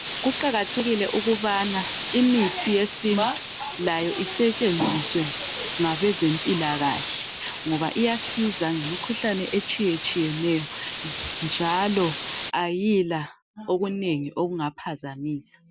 Kuqakathekile ukubana imithi yesintu layo isetshenziswe ngabezempilakahle ngoba iyasiza ngemikhuhalne etshiyetshiyeneyo njalo ayila okunengi okungaphazamisa.